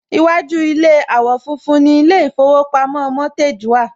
Iwájú ilé àwò fun fun ni ilé ìfowópamọ́ Mortgage wà